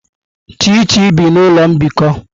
Chichi bi n'ụlọ mbikọ.